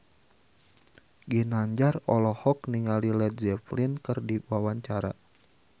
Ginanjar olohok ningali Led Zeppelin keur diwawancara